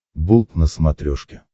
болт на смотрешке